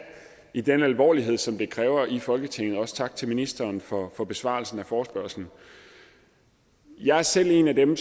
i den alvorlighed som det kræver i folketinget også tak til ministeren for for besvarelsen af forespørgslen jeg er selv en af dem